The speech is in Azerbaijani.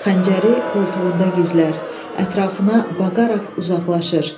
Xəncəri qoltuğunda gizlər, ətrafına baqaraq uzaqlaşır.